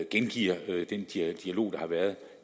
gengiver den dialog der har været